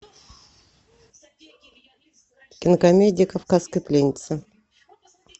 кинокомедия кавказская пленница